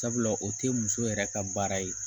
Sabula o te muso yɛrɛ ka baara ye